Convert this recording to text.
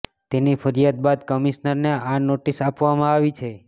તેની ફરિયાદ બાદ કમિશનરને આ નોટિસ આપવામાં આવી છે